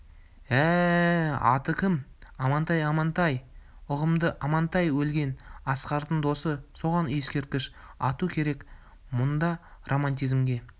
ә-ә-ә аты кім амантай амантай ұғымды амантай өлген асқардың досы соған ескерткіш ату керек мұнда романтизмге